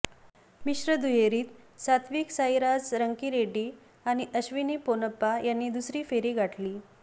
मिश्र दुहेरीत सत्विक साईराज रंकीरेड्डी आणि अश्विनी पोनप्पा यांनी दुसरी फेरी गाठली